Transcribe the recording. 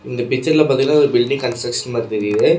இந்த பிச்சர்ல பாத்தீங்கன்னா பில்டிங் கண்சரக்சன் மாரி தெறிது.